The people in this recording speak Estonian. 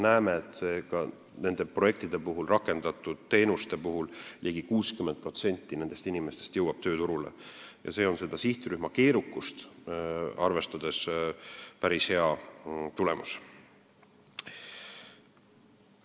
Nende projektide puhul, rakendatud teenuste puhul jõuab ligi 60% nendest inimestest tööturule ja see on sihtrühma keerukust arvestades päris hea tulemus.